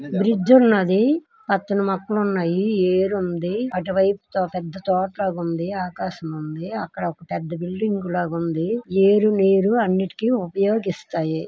Bridge ఉన్నాది. పచ్చని మొక్కలు ఉన్నాయి. ఏరుంది అటువైపు పెద్ద తోట లాగా ఉంది. ఆకాశముంది. అక్కడ ఒక పెద్ద బిల్డింగు కూడా ఉంది. ఏరు నీరు అన్నిటికీ ఉపయోగిస్తాయి.